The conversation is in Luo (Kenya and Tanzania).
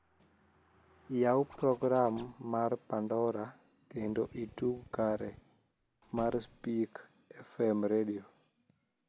ya program mar pandora kendo itug kare mar spic f.m redio